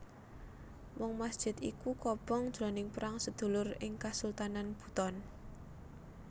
Mung masjid iku kobong jroning perang sedulur ing Kasultanan Buton